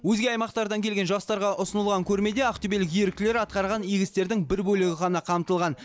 өзге аймақтардан келген жастарға ұсынылған көрмеде ақтөбелік еріктілер атқарған игі істердің бір бөлігі ғана қамтылған